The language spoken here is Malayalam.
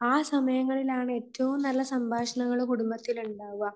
ആ സമയങ്ങളിൽ ആണ് ഏറ്റവും നല്ല സംഭാഷണങ്ങൾ കുടുംബത്തിൽ ഉണ്ടാവുക.